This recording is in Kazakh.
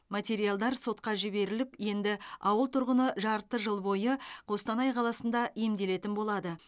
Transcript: материалдар сотқа жіберіліп енді ауыл тұрғыны жарты жыл бойы қостанай қаласында емделетін болады